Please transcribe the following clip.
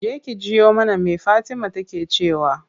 Je ki jiyo mana me fatima take cewa.